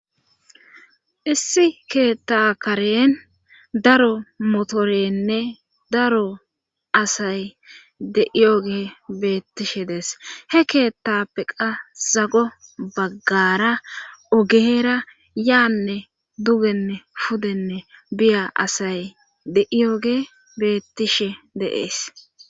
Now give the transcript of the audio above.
issi keetta karen daro motorenne daro asay de7iyoge beettishe dees he keettappeqa zago baggara ogeera yaanne dugenne pudenne biya asay de7iyoge bettishe de,es